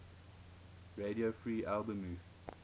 radio free albemuth